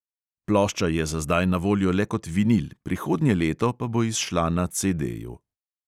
Plošča je za zdaj na voljo le kot vinil, prihodnje leto pa bo izšla na CDju.